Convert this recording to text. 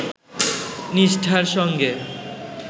নিষ্ঠার সঙ্গে